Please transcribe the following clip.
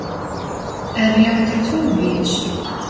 er ég úti á túni í þessu